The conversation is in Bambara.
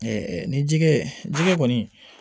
ni jɛgɛ jɛgɛ kɔni